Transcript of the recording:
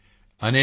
ਨਲ ਵਾੜ ਤੁੱਕਲ